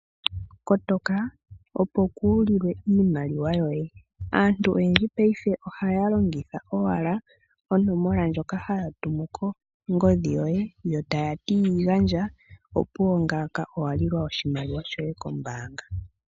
Kotoka opo kuulilwe iimaliwa yoye. Aantu oyendji paife ohaya longitha owala onomola ndjoka haya tumu kongodhi yoye, yo taya ti yi gandja, opuwo ngaaka owa lilwa oshimaliwa shoye kombaanga.